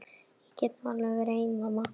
Ég get nú alveg verið ein mamma.